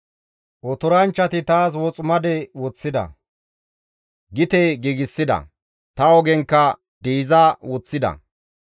Otoranchchati taas woximade woththida; gite giigsida; ta ogenkka diiza woththida.